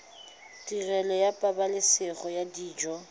tirelo ya pabalesego ya dijo